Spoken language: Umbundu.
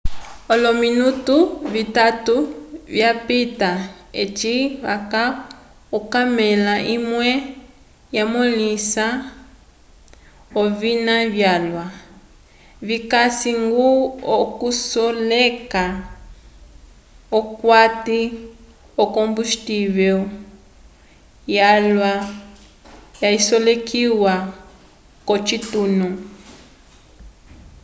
olominutu vitatu vyapita eci vaca okamela imwe yamõlehisa ovina vyalwa vikasi-ñgo okulisoleka p'okati yokombustivel yalwa yasolekiwa k'ocitunu